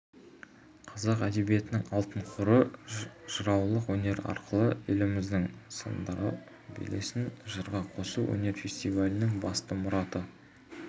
қазақ әдебиетінің алтын қоры жыраулық өнер арқылы еліміздің сындарлы белесін жырға қосу өнер фестивалінің басты мұраты